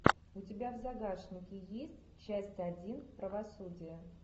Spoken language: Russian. у тебя в загашнике есть часть один правосудие